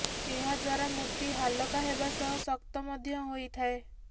ଏହାଦ୍ୱାରା ମୂର୍ତ୍ତୀ ହାଲକା ହେବା ସହ ଶକ୍ତ ମଧ୍ୟ ହୋଇଥାଏ